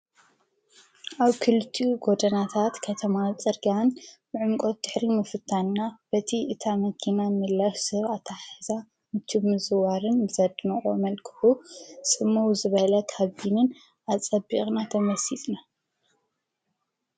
ኣብ ክልቲኡ ጐድናታት ከተማ ጸርግን ብዑምቆት ድሕሪ ምፍታና በቲ እታ መኪና ምላስ ሰብ ኣታሓሕዛ ምችው ምዝዋርን ብዘድንቁ መልክዑ ፅመው ዝበለ ሃቢንን ኣጸቢቕና ተመሲጥና።